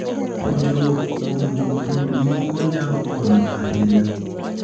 Puonjruok kuom jopur moko nyalo konyo ahinya.